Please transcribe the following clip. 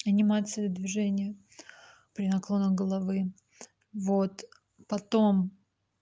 анимация движения при наклонах головы вот потом